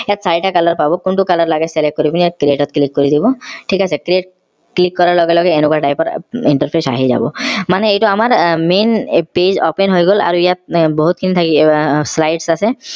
ইয়াত চাৰিটা color পাব কোনটো color লাগে select কৰি পিনে ইয়াত red ত click কৰি দিব থিক আছে click কৰাৰ লগে লগে এনেকুৱা type ৰ interface আহি যাব মানে এইটো আমাৰ আহ main page open হৈ গল আৰু ইয়াত বহুত খিনি আহ আছে